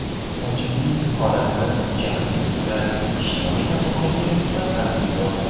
Sochimning holatini jahl ustida ijtimoiy tarmoqlarga tarqatib yubordim.